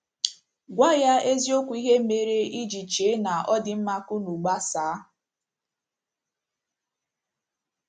Gwa ya eziokwu ihe mere i ji chee na ọ dị mma ka unu gbasaa.